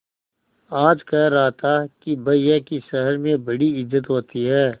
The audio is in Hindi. आज कह रहा था कि भैया की शहर में बड़ी इज्जत होती हैं